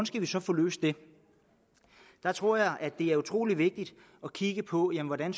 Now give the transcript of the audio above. skal vi så få løst det der tror jeg det er utrolig vigtigt at kigge på hvordan